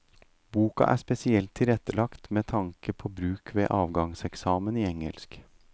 Boka er spesielt tilrettelagt med tanke på bruk ved avgangseksamen i engelsk.